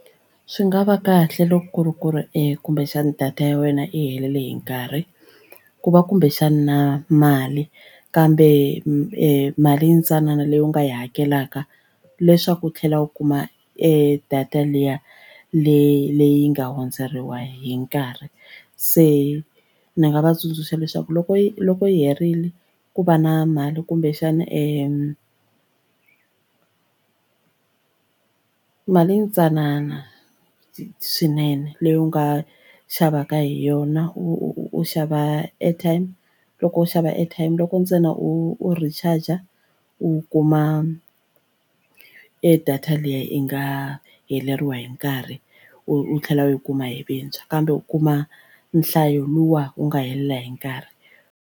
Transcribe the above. Swi nga va kahle loko ku ri ku ri e kumbexana data ya wena i helele hi nkarhi ku va kumbexani na mali kambe mali yintsanana leyi u nga yi hakelaka leswaku u tlhela u kuma e data liya leyi nga hundzeriwa hi nkarhi se ni nga va tsundzuxa leswaku loko yi loko yi herile ku va na mali kumbexana e mali yintsanana swinene leyi u nga xavaka hi yona u xava airtime loko u xava airtime loko ntsena u recharge u kuma e data leyi yi nga heleriwa hi nkarhi u tlhela u yi kuma hi vuntshwa kambe u kuma nhlayo luwa wu nga helela hi nkarhi.